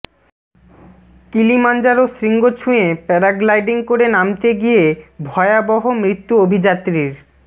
Kilimanjaro শৃঙ্গ ছুঁয়ে paragliding করে নামতে গিয়ে ভয়াবহ মৃত্যু অভিযাত্রীর